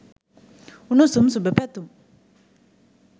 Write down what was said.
උණුසුම් සුබ පැතුම්.